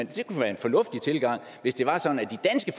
det kunne være en fornuftig tilgang hvis det var sådan